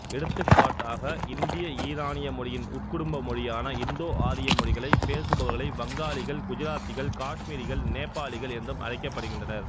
எடுத்துக்காட்டாக இந்தியஈரானிய மொழியின் உட்குடும்ப மொழியான இந்தோ ஆரிய மொழிகளை பேசுபவர்களை வங்காளிகள் குஜராத்திகள் காஷ்மீரிகள் நேபாளிகள் என்றும் அழைக்கப்படுகின்றனர்